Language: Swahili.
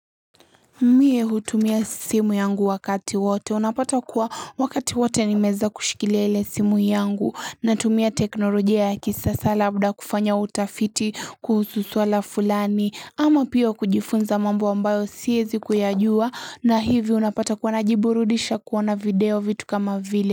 Mie hutumia simu yangu wakati wote unapata kuwa wakati wote nimeeza kushikilia ile simu yangu na tumia teknolojia ya kisasa labda kufanya utafiti kuhusu swala fulani ama pia kujifunza mambo ambayo siyezi kuyajua na hivi unapata kuwa najiburudisha kuona video vitu kama vile.